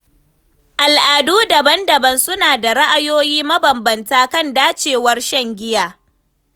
Al’adu daban-daban suna da ra’ayoyi mabambanta kan dacewar shan giya.